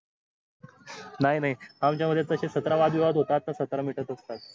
नाय नाय आमच्या मध्ये तसे सतरा वादविवाद होतात तर सत्र मिटत असतात